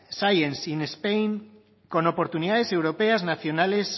science in spain con oportunidades europeas nacionales